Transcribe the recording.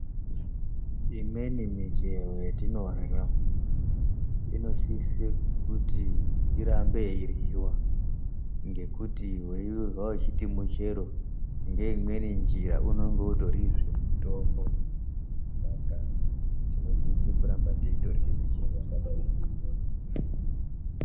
Imweni michero ya tinorya ino sise kuty irambe yei ryiwa ngekuti we irya uchiti muchero ngeimweni njira unenge utori mutombo zve saka tinosise kuramba teirya michero yakadai nge iyoyo.